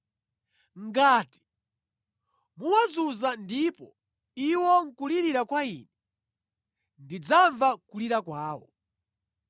Ngati muwazunza ndipo iwo nʼkulirira kwa Ine, ndidzamva kulira kwawo.